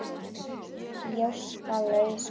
Gjóska- laus gosefni